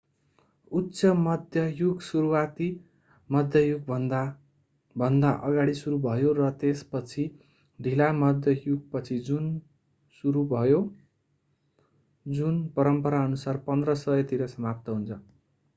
उच्च मध्य युग सुरुवाती मध्य युगभन्दा भन्दा अगाडि सुरु भयो र त्यसपछि ढिला मध्य युगपछि सुरु भयो जुन परम्पराअनुसार 1500 तिर समाप्त हुन्छ